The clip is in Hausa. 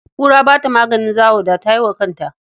Kura ba ta maganin zawo, da ta yi wa kanta.